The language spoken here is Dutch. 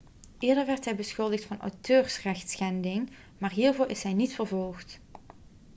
eerder werd hij beschuldigd van auteursrechtschending maar hiervoor is hij niet vervolgd